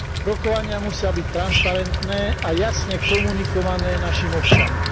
Rokovania musia byť transparentné a jasne komunikované našim občanom.